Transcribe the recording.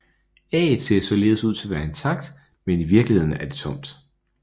Ægget ser således ud til at være intakt men er i virkeligheden tomt